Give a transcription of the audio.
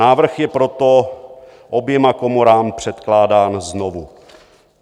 Návrh je proto oběma komorám předkládán znovu.